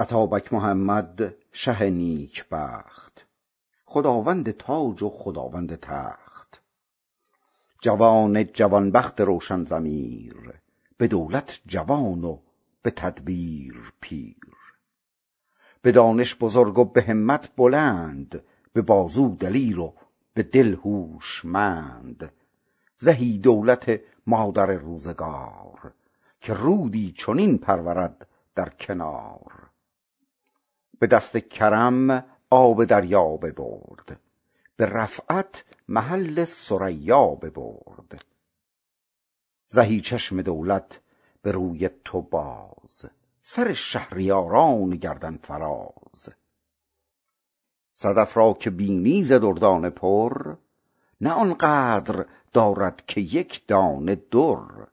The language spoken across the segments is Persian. اتابک محمد شه نیکبخت خداوند تاج و خداوند تخت جوان جوان بخت روشن ضمیر به دولت جوان و به تدبیر پیر به دانش بزرگ و به همت بلند به بازو دلیر و به دل هوشمند زهی دولت مادر روزگار که رودی چنین پرورد در کنار به دست کرم آب دریا ببرد به رفعت محل ثریا ببرد زهی چشم دولت به روی تو باز سر شهریاران گردن فراز صدف را که بینی ز دردانه پر نه آن قدر دارد که یکدانه در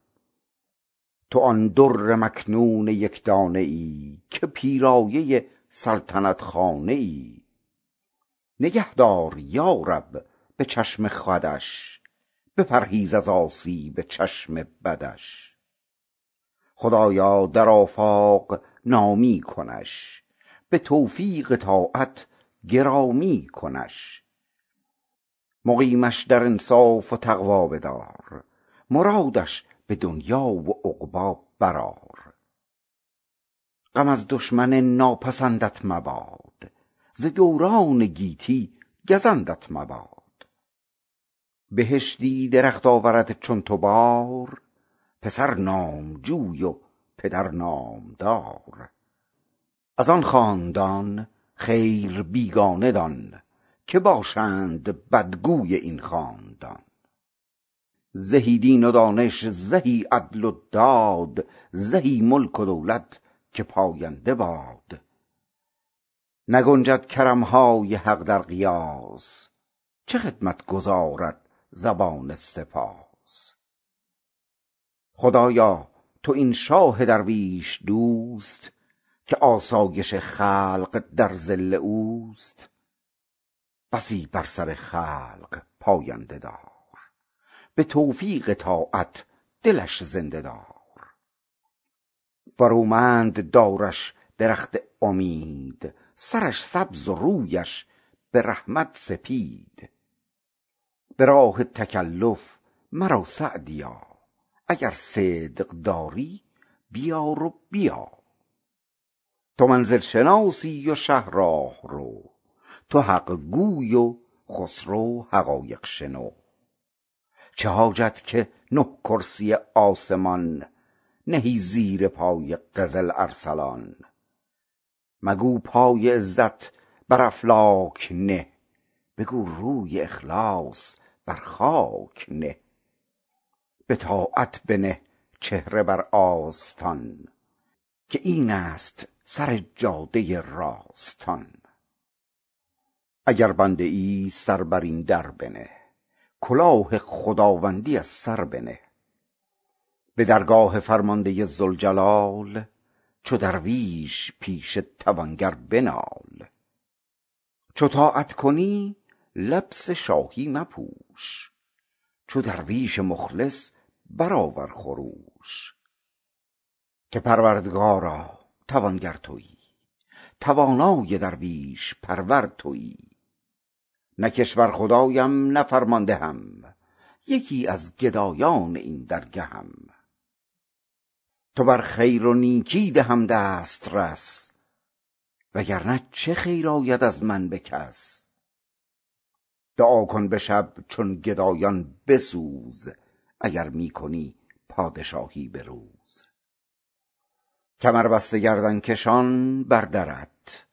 تو آن در مکنون یکدانه ای که پیرایه سلطنت خانه ای نگه دار یارب به چشم خودش بپرهیز از آسیب چشم بدش خدایا در آفاق نامی کنش به توفیق طاعت گرامی کنش مقیمش در انصاف و تقوی بدار مرادش به دنیا و عقبی برآر غم از دشمن ناپسندش مباد وز اندیشه بر دل گزندش مباد بهشتی درخت آورد چون تو بار پسر نامجوی و پدر نامدار از آن خاندان خیر بیگانه دان که باشند بدخواه این خاندان زهی دین و دانش زهی عدل و داد زهی ملک و دولت که پاینده باد نگنجد کرمهای حق در قیاس چه خدمت گزارد زبان سپاس خدایا تو این شاه درویش دوست که آسایش خلق در ظل اوست بسی بر سر خلق پاینده دار به توفیق طاعت دلش زنده دار برومند دارش درخت امید سرش سبز و رویش به رحمت سفید به راه تکلف مرو سعدیا اگر صدق داری بیار و بیا تو منزل شناسی و شه راهرو تو حقگوی و خسرو حقایق شنو چه حاجت که نه کرسی آسمان نهی زیر پای قزل ارسلان مگو پای عزت بر افلاک نه بگو روی اخلاص بر خاک نه بطاعت بنه چهره بر آستان که این است سر جاده راستان اگر بنده ای سر بر این در بنه کلاه خداوندی از سر بنه به درگاه فرمانده ذوالجلال چو درویش پیش توانگر بنال چو طاعت کنی لبس شاهی مپوش چو درویش مخلص برآور خروش که پروردگارا توانگر تویی توانا و درویش پرور تویی نه کشور خدایم نه فرماندهم یکی از گدایان این درگهم تو بر خیر و نیکی دهم دسترس وگر نه چه خیر آید از من به کس دعا کن به شب چون گدایان به سوز اگر می کنی پادشاهی به روز کمر بسته گردن کشان بر درت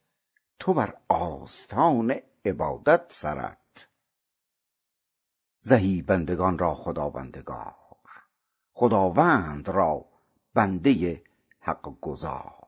تو بر آستان عبادت سرت زهی بندگان را خداوندگار خداوند را بنده حق گزار